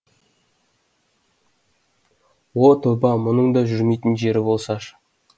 о тоба мұның да жүрмейтін жері болсашы